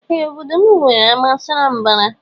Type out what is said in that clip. Ee obodo mụ nwere ama sara mbara.